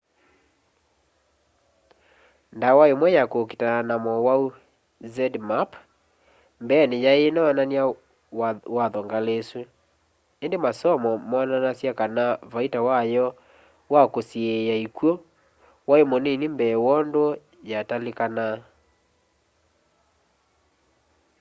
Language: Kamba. ndawa imwe ya kukitana na mowau zmapp mbeeni yai inoonany'a watho ngali isu indi masomo moonanasya kana vaita wayo kwa kusiiia ikw'u wai munii mbee wondu yatalikanaa